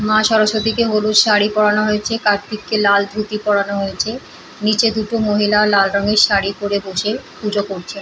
মা সরস্বতীকে হলুদ শাড়ি পরানো হয়েছে কার্তিককে লাল ধুতি পরানো হয়েছে। নিচে দুটো মহিলা লাল রঙের শাড়ি পরে বসে পুজো করছে।